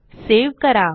save करा